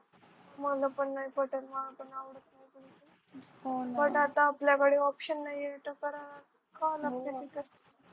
मला पण नाही पटत मला पण नाही आवडत पण आता आपल्याकडे option नाहीये तर काय खायला लागते